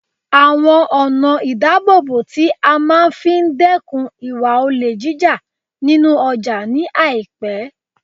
awon ona idabobo ti a maa fi dekun iwa ole jija ninu oja ni aipe